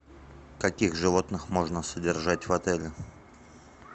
каких животных можно содержать в отеле